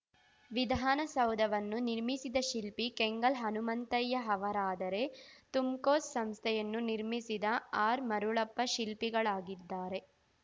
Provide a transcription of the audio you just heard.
ವಿಧಾನಸೌಧವನ್ನು ನಿರ್ಮಿಸಿದ ಶಿಲ್ಪಿ ಕೆಂಗಲ್‌ ಹನುಮಂತಯ್ಯ ಅವರಾದರೆ ತುಮ್‌ಕೋಸ್‌ ಸಂಸ್ಥೆಯನ್ನು ನಿರ್ಮಿಸಿದ ಆರ್‌ಮರುಳಪ್ಪ ಶಿಲ್ಪಿಗಳಾಗಿದ್ದಾರೆ